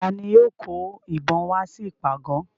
Ta ni yóò kó ìbọn wá sí ìpàgọ̀?